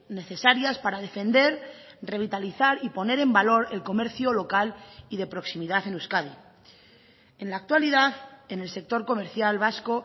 necesarias para defender revitalizar y poner en valor el comercio local y de proximidad en euskadi en la actualidad en el sector comercial vasco